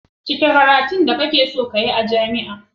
cike karatun da ka keson Yi a jami a